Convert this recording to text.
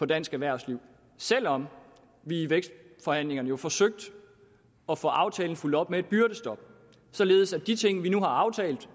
dansk erhvervsliv selv om vi i vækstforhandlingerne jo forsøgte at få aftalen fulgt op med et byrdestop således at de ting vi nu har aftalt